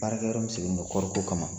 Baarakɛyɔrɔ min sigilen bɛ kɔɔriko kama